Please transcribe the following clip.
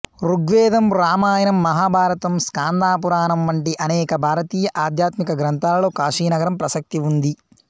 ఋగ్వేదం రామాయణం మహాభారతం స్కాంద పురాణం వంటి అనేక భారతీయ ఆధ్యాత్మిక గ్రంథాలలో కాశీనగరం ప్రసక్తి ఉంది